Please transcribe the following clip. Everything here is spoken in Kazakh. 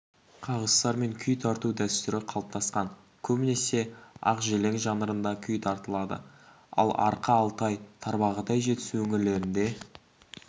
қағыстармен күй тарту дәстүрі қалыптасқан көбінесе ақжелең жанрында күй тартылады ал арқа алтай-тарбағатай жетісу өңірлерінде